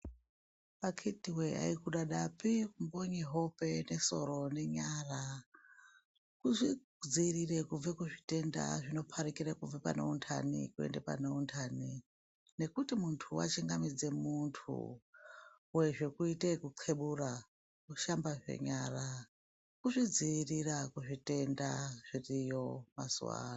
Akiti wee aikudada pi kumbonye hope nesoro nenyara kuzvidziirore kubve kuzvitendazvinoparukire kubve pane untani kuende pane untani nekuti zve muntu wachingamidze muntu uye zvekuitee ekuthebura woshambazve nyara kuzvidziirira kuzvitenda zviriyo mazuwa ano.